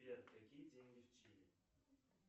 сбер какие деньги в чили